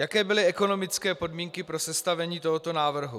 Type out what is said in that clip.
Jaké byly ekonomické podmínky pro sestavení tohoto návrhu?